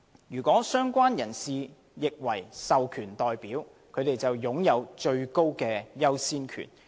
如"相關人士"亦為"獲授權代表"，便擁有最高優先權。